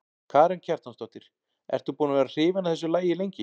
Karen Kjartansdóttir: Ertu búin að vera hrifin af þessu lagi lengi?